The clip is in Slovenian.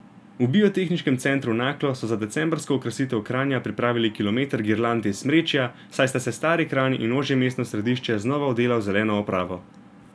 V Biotehniškem centru Naklo so za decembrsko okrasitev Kranja pripravili kilometer girland iz smrečja, saj sta se stari Kranj in ožje mestno središče znova odela v zeleno opravo.